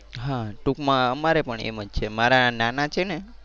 હા ટુંકમાં અમારે પણ એમ જ છે મારા નાના છે ને